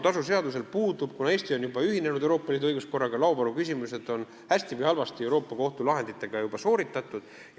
Eesti on juba ühinenud Euroopa Liidu õiguskorraga, laovaruküsimused on hästi või halvasti Euroopa Kohtu lahenditega lahendatud.